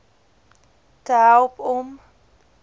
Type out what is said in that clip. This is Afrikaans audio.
te help om